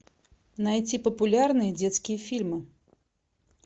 найти популярные детские фильмы